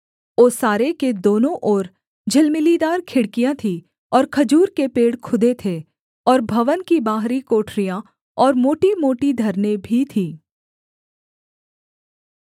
ओसारे के दोनों ओर झिलमिलीदार खिड़कियाँ थीं और खजूर के पेड़ खुदे थे और भवन की बाहरी कोठरियाँ और मोटीमोटी धरनें भी थीं